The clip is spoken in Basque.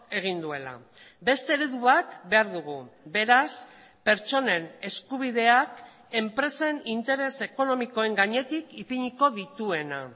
egin duela beste eredu bat behar dugu beraz pertsonen eskubideak enpresen interes ekonomikoen gainetik ipiniko dituena